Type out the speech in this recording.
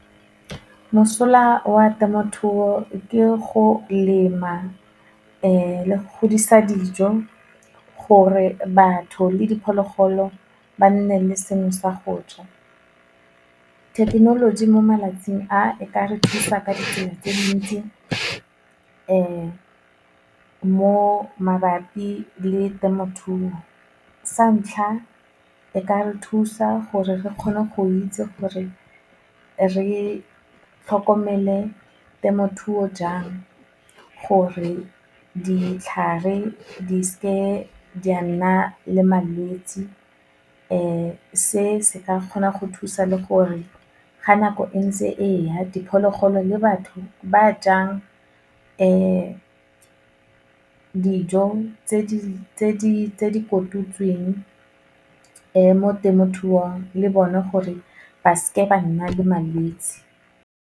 Mosola wa temothuo ke go lema, le go godisa dijo gore batho le diphologolo ba nne le seno sa go ja. Thekenoloji mo malatsing a, e ka re thusa ka ditsela tse dintsi mo mabapi le temothuo, sa ntlha e ka re thusa gore re kgone go itse gore re tlhokomele temothuo jang gore ditlhare di seke di a nna le malwetsi, se se ka kgona go thusa le gore ga nako e ntse e ya, diphologolo le batho ba jang dijo tse di kotutsweng mo temothuong le bone gore ba seke ba nna le malwetsi.